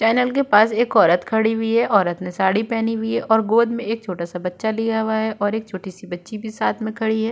Channel के पास एक औरत खड़ी हुई है। औरत ने साड़ी पहनी हुई है और गोद में एक छोटा सा बच्चा लिया हुआ है और एक छोटी सी बच्ची भी साथ में खड़ी है।